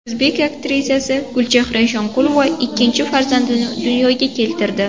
O‘zbek aktrisasi Gulchehra Eshonqulova ikkinchi farzandini dunyoga keltirdi.